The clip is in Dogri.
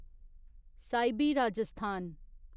साहिबी राजस्थान